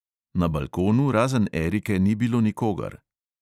Na balkonu razen erike ni bilo nikogar.